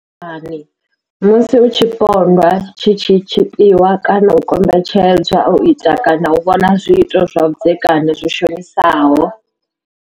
U tambudzwa lwa vhudzekani musi tshipondwa tshi tshi tshipiwa kana u kombetshedzwa u ita kana u vhona zwiito zwa vhudzekani zwi shonisaho